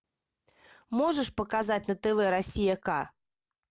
можешь показать на тв россия к